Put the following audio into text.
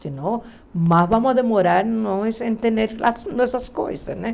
Se não, mas vamos demorar em entender essas coisas, né?